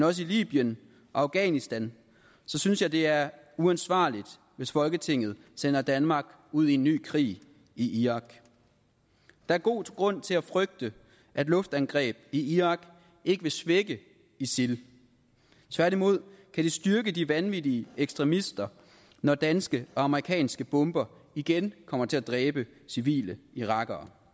også i libyen og afghanistan synes jeg det er uansvarligt hvis folketinget sender danmark ud i en ny krig i irak der er god grund til at frygte at luftangreb i irak ikke vil svække isil tværtimod kan det styrke de vanvittige ekstremister når danske og amerikanske bomber igen kommer til at dræbe civile irakere